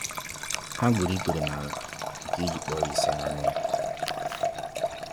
Ha gburu ikpere nala nke i ji kpọọ isiala nye Ya